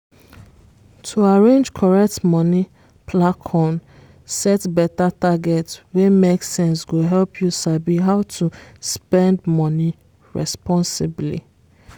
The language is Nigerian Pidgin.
to arrange correct money plancon set better target wey make sense go help you sabi how to spend money responsibly